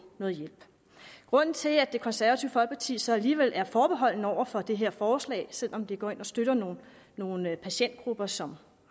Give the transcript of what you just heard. noget hjælp grunden til at det konservative folkeparti så alligevel er forbeholdne over for det her forslag selv om det går ind og støtter nogle nogle patientgrupper som